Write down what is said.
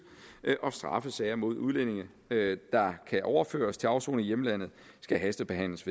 og straffesager mod udlændinge der kan overføres til afsoning i hjemlandet skal hastebehandles